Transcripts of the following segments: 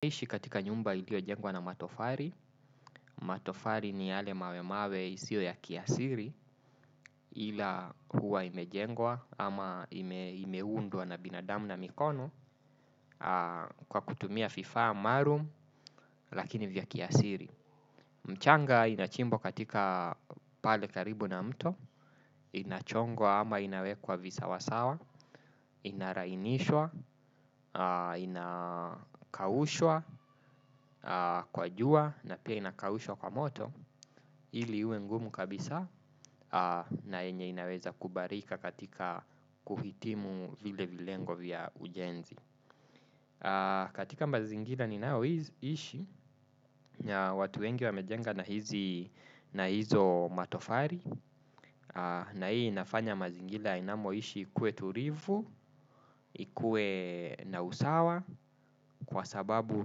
Kuishi katika nyumba iliyojengwa na matofali, matofali ni yale mawe mawe isiyo ya kiasili ila huwa imejengwa ama imeundwa na binadamu na mikono kwa kutumia vifaa maalumu lakini vya kiasili. Mchanga inachimbwa katika pale karibu na mto, inachongwa ama inawekwa visawasawa, inalainishwa, inakaushwa, kwa jua na pia inakaushwa kwa moto ili iwe ngumu kabisa na yenye inaweza kubalika katika kuhitimu vile vilengo vya ujenzi. Katika mazingira ninayoishi watu wengi wamejenga na hizi na hizo matofali. Na hii inafanya mazingira inamoishi ikuwe tulivu. Ikuwe na usawa kwa sababu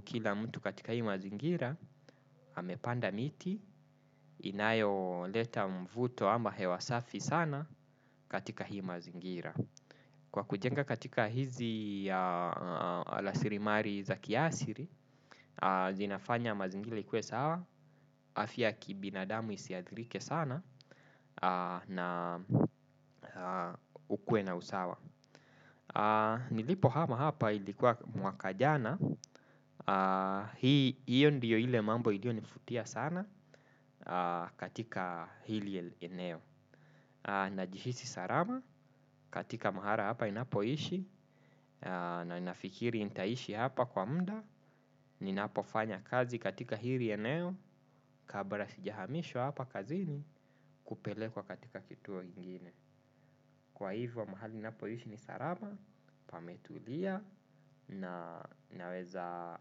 kila mtu katika hii mazingira amepanda miti inayoleta mvuto ama hewa safi sana katika hii mazingira kwa kujenga katika hizi rasilimali za kiasili zinafanya mazingira ikuwe sawa afya ya kibinadamu isiathirike sana. Na ukuwe na usawa. Nilipohama hapa ilikuwa mwaka jana. Hiyo ndiyo ile mambo iliyonivutia sana katika hili eneo najihisi salama katika mahali hapa ninapoishi. Na ninafikiri nitaishi hapa kwa muda. Ninapofanya kazi katika hili eneo kabla sijahamishwa hapa kazini kupelekwa katika kituo ingine kwa hivyo mahali ninapoishi ni salama pametulia na naweza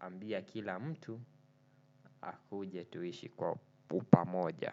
ambia kila mtu akuje tuishi kwa upamoja.